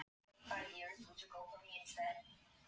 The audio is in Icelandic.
Hrund: Og veistu hvar skipið sökk?